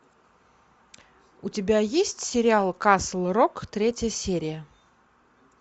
у тебя есть сериал касл рок третья серия